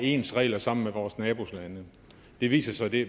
ens regler sammen med vores nabolande det viser sig at vi